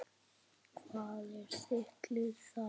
Hvað er þitt lið þar?